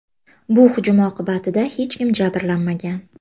Bu hujum oqibatida hech kim jabrlanmagan.